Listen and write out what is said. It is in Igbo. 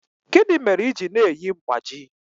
Gịnị mere i ji na-eyi mgbájí?